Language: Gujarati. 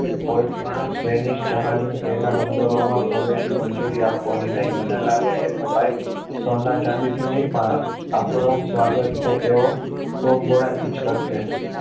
પેરિસ અને સ્પેનિશ જહાજો તેના બંદરોમાં પ્રવેશી મંજૂરી આપવાની નહિ મને લાગે છે કે ભાઈ સોના ચાંદીથી નહી પણ આપણું સ્વાગત તેઓ ટોપ ગોળાથી જ કરશે